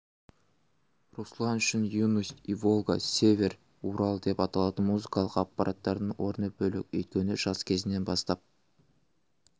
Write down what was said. руслан үшін юность иволга север урал деп аталатын музыкалық аппараттардың орны бөлек өйткені жас кезінен бастап